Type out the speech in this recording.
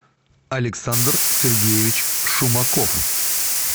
александр сергеевич шумаков